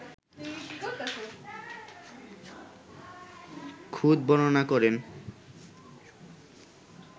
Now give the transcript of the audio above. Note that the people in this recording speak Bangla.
খুঁত বর্ণনা করেন